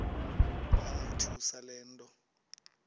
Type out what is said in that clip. yamothusa le nto